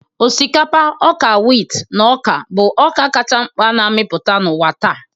Osikapa, ọka wit, na ọka bụ ọka kacha mkpa na-amịpụta n'ụwa taa.